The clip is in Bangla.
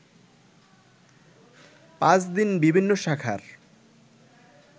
পাঁচ দিন বিভিন্ন শাখার